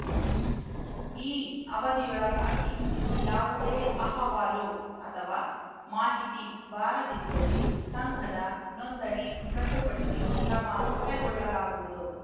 ಈ ಅವಧಿಯೊಳಗಾಗಿ ಯಾವುದೇ ಅಹವಾಲು ಅಥವಾ ಮಾಹಿತಿ ಬಾರದಿದ್ದಲ್ಲಿ ಸಂಘದ ನೋಂದಣಿ ರದ್ದುಪಡಿಸಲು ಕ್ರಮ ಕೈಗೊಳ್ಳಲಾಗುವುದು